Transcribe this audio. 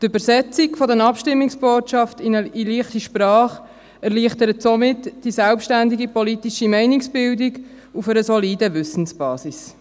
Die Übersetzung der Abstimmungsbotschaft in «leichte Sprache» erleichtert somit die selbstständige politische Meinungsbildung auf einer soliden Wissensbasis.